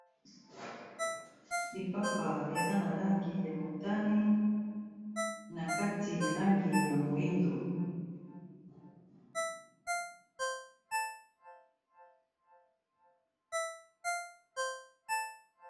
lipapa eza na langi ya motani na kati langi ya moindo